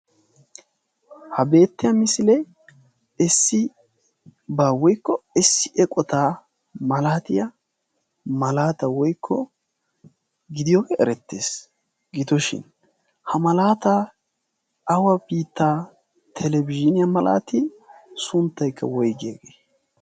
ha beettiya misilee issi baa woikko essi eqotaa malaatiya malaata woikko gidiyooge erettees. gitooshin ha malaata awafita telebiziiniyaa malaatii sunttaykka woiggiyaagee?